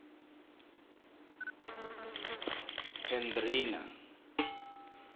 hendrina